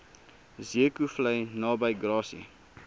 zeekoevlei naby grassy